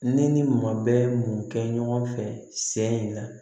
Ne ni maa bɛɛ ye mun kɛ ɲɔgɔn fɛ sen in na